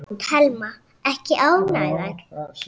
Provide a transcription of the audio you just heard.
Telma: Ekki ánægðar?